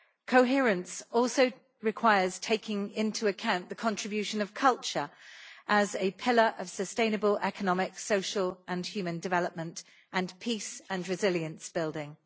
Coherence also requires taking into account the contribution of culture as a pillar of sustainable economic, social and human development and of peace and resilience building.